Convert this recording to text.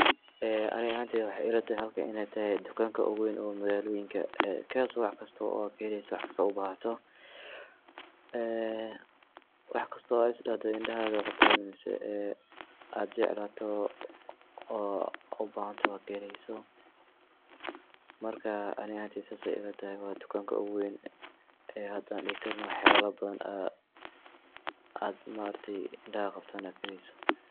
Ee aniga ahanteyda waxey ilatahay halkan inay tahay dukanka ogu wayn ee magalooyinka kaso aad waxkasto aad kaheleyso waxkasto u bahato ee waxkasto aad isdahdo indhahaga way qabtan ee aad jeclato oo u bahantahy aad kaheleysa marka ani ahantay sidas ayay ilatahay waa dukanka ogu wayn ee hada aan dihi karno waxyalaha badan aad ma aragti indhahaga qabtan aad kaheleyso.